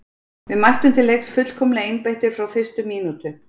Við mættum til leiks fullkomlega einbeittir frá fyrstu mínútu.